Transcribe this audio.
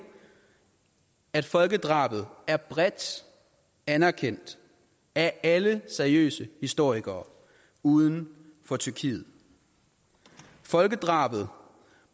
at folkedrabet er bredt anerkendt af alle seriøse historikere uden for tyrkiet folkedrabet